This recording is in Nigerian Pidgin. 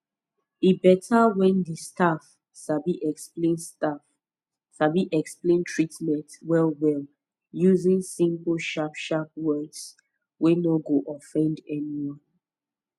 e beta when di staff sabi explain staff sabi explain treatment wellwell using simple sharp sharp words wey no go offend anyone